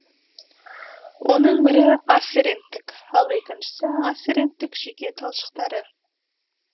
оның бірі афференттік ал екіншісі афференттік жүйке талшықтары